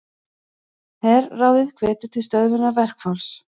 Herráðið hvetur til stöðvunar verkfalls